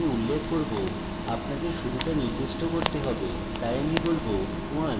আপনাকে শুরুটা নির্দিষ্ট করতে হবে তাই আমি বলব1